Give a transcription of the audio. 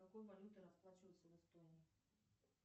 какой валютой расплачиваются в эстонии